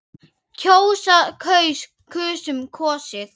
kjósa- kaus- kusum- kosið